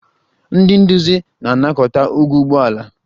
Ndị nduzi na-anakọta ụgwọ ụgbọ ala